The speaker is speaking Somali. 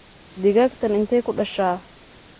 Digagtan inte kudasha?